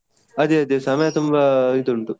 ಅದೇ ಅದೇ ಸಮಯ ತುಂಬಾ ಇದು ಉಂಟು.